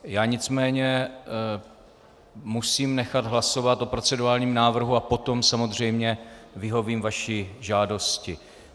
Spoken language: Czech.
Já nicméně musím nechat hlasovat o procedurálním návrhu a potom samozřejmě vyhovím vaší žádosti.